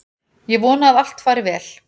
Ég vona að allt fari vel.